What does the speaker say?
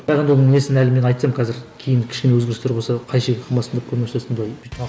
оның несін әлі мен айтсам қазір кейін кішкене өзгерістер болса қайшы келіп қалмасын деп